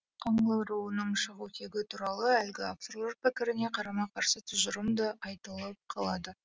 қаңлы руының шығу тегі туралы әлгі авторлар пікіріне қарама қарсы тұжырым да айтылып қалады